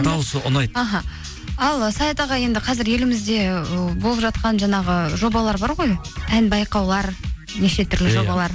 дауысы ұнайды аха ал саят аға енді қазір елімізде ы болып жатқан жаңағы жобалар бар ғой ән байқаулар неше түрлі жобалар